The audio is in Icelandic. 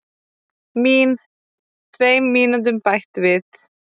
Mín: Tveim mínútum bætt við.